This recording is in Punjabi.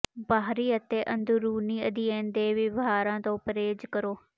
ਬਾਹਰੀ ਅਤੇ ਅੰਦਰੂਨੀ ਅਧਿਐਨ ਦੇ ਵਿਵਹਾਰਾਂ ਤੋਂ ਪਰਹੇਜ਼ ਕਰੋ